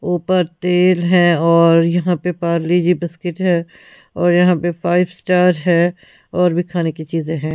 ऊपर तेल है और यहां पे पार्ली-जी बिस्किट है और यहां पे फाइव स्टार है और भी खाने की चीजें हैं--